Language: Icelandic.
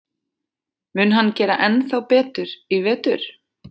Mun hann gera ennþá betur í vetur?